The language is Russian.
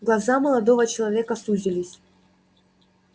глаза молодого человека сузились